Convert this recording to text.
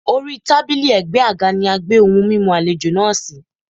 Orí tábílì ẹ̀gbẹ́ àga ni a gbé ohun mímu àlejò náà sí.